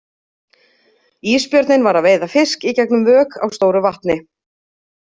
Ísbjörninn var að veiða fisk í gegn um vök á stóru vatni.